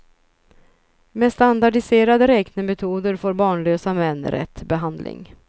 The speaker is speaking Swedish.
Med standardiserade räknemetoder får barnlösa män rätt behandling.